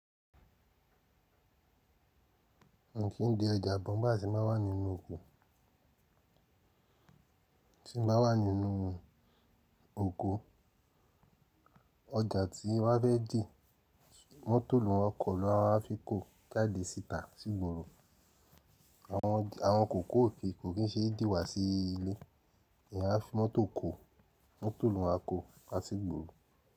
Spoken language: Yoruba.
Mi kí ń de ọjà aabo nigba tí mbá wa ninu okom wà nínú oko, ọjà tí wá bẹ́ẹ̀ fe di mọ́tò ló ń wọkọ̀ ló a fi kó jáde síta sí ìgboro. Àwọn kòkó òfin kò kí ń ṣe díwà sí ilé, eeyan a fi mọ́tò kó, mọ́tò ló máa kó wa sí ìgboro.